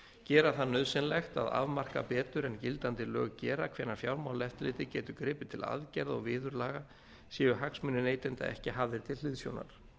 vátryggingarsamninga gera það nauðsynlegt að afmarka betur en gildandi lög gera hvenær fjármálaeftirlitið getur gripið til aðgerða og viðurlaga séu hagsmunir neytenda ekki hafðir til hliðsjónar